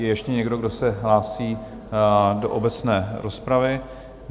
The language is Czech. Je ještě někdo, kdo se hlásí do obecné rozpravy?